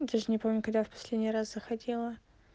даже не помню когда я последний раз заходила